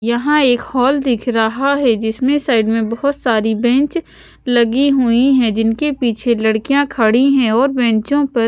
यहाँ एक हॉल दिख रहा है जिसमें साइड में बहुत सारी बेंच लगी हुई है जिनके पीछे लडकियाँ खड़ी हैं और बेंचो पर--